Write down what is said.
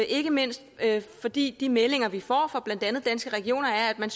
ikke mindst fordi de meldinger vi får fra blandt andet danske regioner er at man